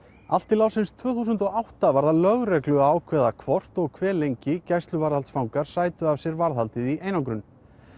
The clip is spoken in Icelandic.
allt til ársins tvö þúsund og átta var það lögreglu að ákveða hvort og hve lengi gæsluvarðhaldsfangar sætu af sér varðhaldið í einangrun